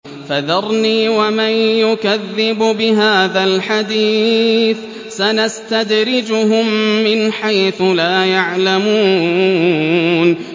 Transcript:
فَذَرْنِي وَمَن يُكَذِّبُ بِهَٰذَا الْحَدِيثِ ۖ سَنَسْتَدْرِجُهُم مِّنْ حَيْثُ لَا يَعْلَمُونَ